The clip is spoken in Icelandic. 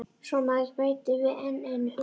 Svo maður bæti við enn einu hugtakinu.